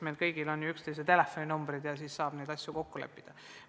Meil kõigil on ju üksteise telefoninumbrid olemas ja me saame telefoni teel ise neid asju kokku leppida.